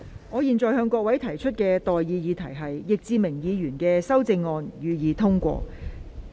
我現在向各位提出的待議議題是：易志明議員動議的修正案，予以通過。